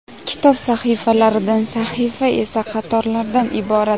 Kitob sahifalardan, sahifa esa qatorlardan iborat.